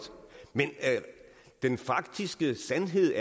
men den faktiske sandhed